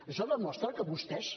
això demostra que vostès